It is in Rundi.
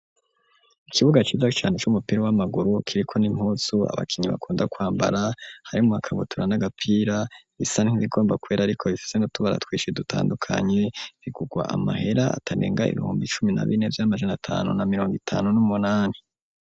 Ikibuga ciza cane c'umupira w'amaguru kiriko n'impuzu abakinyi bakunda kwambara harimwo ikabutura n'agapira bisa nk'ibigomba kwera ariko bifise n'utubaratwishi dutandukanye bigurwa amahera atarenga ibihumbi icumi na bine n'amajana tanu na mirongo itanu n'umunani.